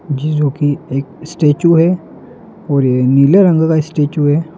ज् जो की एक स्टैचू है और ये नीले रंग का स्टेचू है।